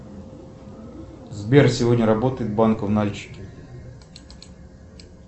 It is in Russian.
сбер сегодня работает банк в нальчике